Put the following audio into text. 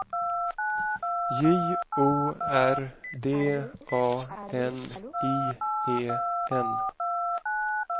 J O R D A N I E N